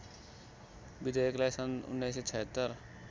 विधेयकलाई सन् १९७६